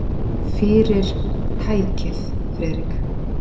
Fyrir- tækið, Friðrik.